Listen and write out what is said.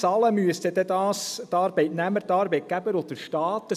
Bezahlen müssten dies dann die Arbeitnehmer, die Arbeitgeber und der Staat.